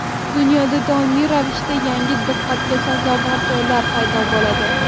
Dunyoda doimiy ravishda yangi diqqatga sazovor joylar paydo bo‘ladi.